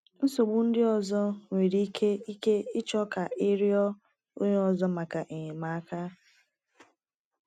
Nsogbu ndị ọzọ nwere ike ike ịchọ ka ị rịọ onye ọzọ maka enyemaka.